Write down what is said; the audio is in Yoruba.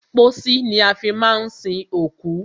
Pósí ni a fi má ń sin òkú.